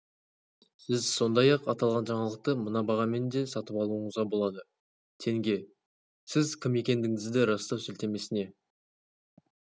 сіз сондай-ақ аталған жаңалықты мына бағамен де сатып алуыңызға болады тенге сіз кім екендігіңізді растау сілтемесіне